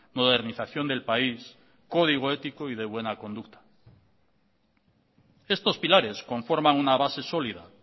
modernización del país código ético y de buena conducta estos pilares conforman una base sólida